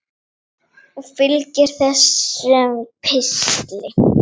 Og fylgir þessum pistli.